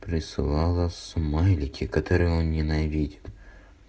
присылала смайлики которые он ненавидит